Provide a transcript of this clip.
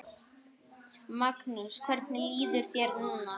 Magnús: Hvernig líður þér núna?